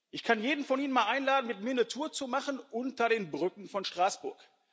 Ich kann jeden von Ihnen einmal einladen, mit mir eine Tour zu machen unter den Brücken von Straßburg.